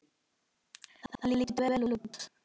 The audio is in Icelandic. Þetta lítur vel út.